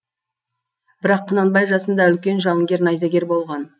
бірақ құнанбай жасында үлкен жауынгер найзагер болған